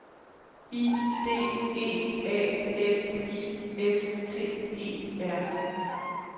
I D E A L I S T E R